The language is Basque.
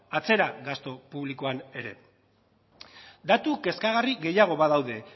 atzera gastu publikoan ere bai datu kezkagarri gehiago badaude